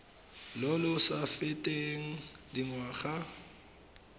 lo lo sa feteng dingwaga